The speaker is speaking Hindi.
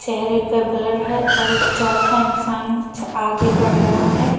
चेहरे पर ब्लर है और एक चौथा इंसान आगे बढ़ रहा है।